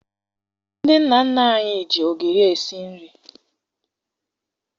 Ndị nna nna anyị ji ogiri esi nri